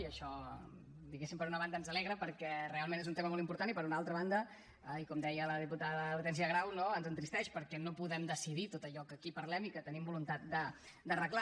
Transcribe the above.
i això diguem ne per una banda ens alegra perquè realment és un tema molt important i per una altra banda i com deia la diputada hortènsia grau ens entristeix perquè no podem decidir tot allò que aquí parlem i que tenim voluntat d’arreglar